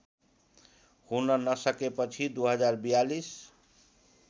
हुन नसकेपछि २०४२